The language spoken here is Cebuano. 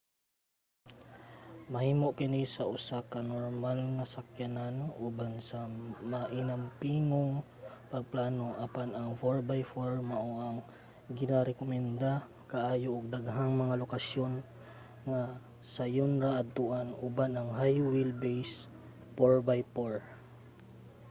mahimo kini sa usa ka normal nga sakyanan uban ang mainampingong pagplano apan ang 4x4 mao ang ginarekomenda kaayo ug daghang mga lokasyon nga sayon ra adtoan uban ang high wheel base 4x4